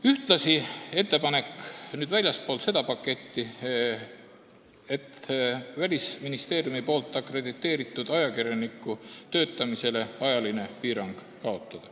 Ühtlasi on ettepanek – see oli väljaspool seda paketti – kaotada Välisministeeriumi poolt akrediteeritud ajakirjaniku töötamise ajaline piirang.